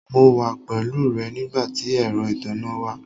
Mo wà pẹ̀lú rẹ̀ nigbàtí èrọ́ ìtánná wà.